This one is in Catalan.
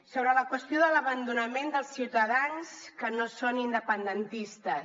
sobre la qüestió de l’abandonament dels ciutadans que no són independentistes